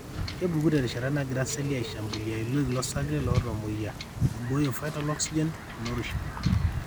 kepuku terishata nagira seli aishambulia iloik lorsarge lootamoyia ,eibooyo vital oxygen o nourishment,